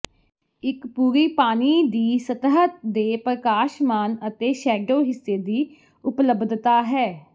ਇੱਕ ਪੂਰਿ ਪਾਣੀ ਦੀ ਸਤਹ ਦੇ ਪ੍ਰਕਾਸ਼ਮਾਨ ਅਤੇ ਸ਼ੈਡੋ ਹਿੱਸੇ ਦੀ ਉਪਲਬਧਤਾ ਹੈ